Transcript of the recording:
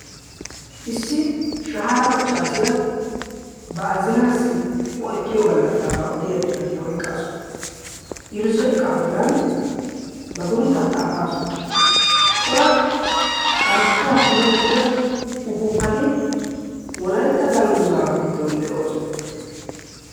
Issi shahaara maccaasiyaa ba azinaassi o ekkiyo gallassaabaa odiya xifatiyaa oyqqassu. irzzo iqaa bollan ba sunttaa xaafaasu. cora carkkuwaa kummi uttida ufuuppati wolaytta dangguza giddon de7oosona.